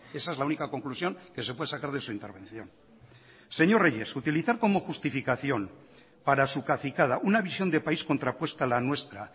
esa es la única conclusión que se puede sacar de su intervención señor reyes utilizar como justificación para su cacicada una visión de país contrapuesta a la nuestra